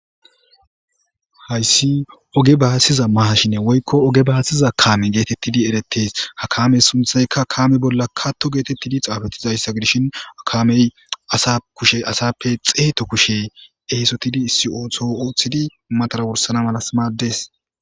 hayssi oge baasiza mahashine woykko oge baasiza kame geetettidi eretes hakamey sunthaykka kaame bolla katto geetettidi xaafetizayssa gdishin akamey asa kushe asappe xeeto kushe ehesotidi si7oothoo ooththidi matara worsana malas maaddes